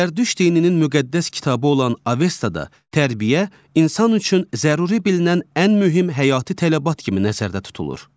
Zərdüşt dininin müqəddəs kitabı olan Avastada tərbiyə insan üçün zəruri bilinən ən mühüm həyati tələbat kimi nəzərdə tutulur.